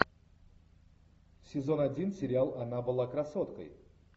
сезон один сериал она была красоткой